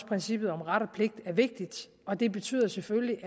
princippet om ret og pligt er vigtigt og det betyder selvfølgelig